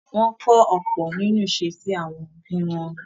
Wọ́n ń kọ́ ọ̀pọ̀ nínú ìṣesí àwọn òbí wọn.